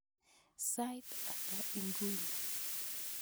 Sait ata inguni?